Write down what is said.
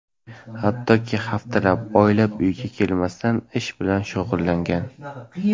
Hattoki haftalab, oylab uyiga kelmasdan ish bilan shug‘ullangan.